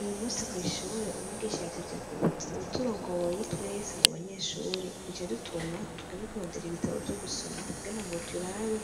Uyu musi kw'ishure umwigisha yatevye kuza uwuturongoye twese mu banyeshuri yaciye adutuma tugende kurondera ibitabo vyo gusoma kugira ngo turabe